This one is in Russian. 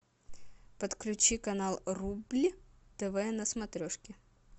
подключи канал рубль тв на смотрешке